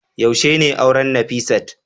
yaushe ne auren Nafisat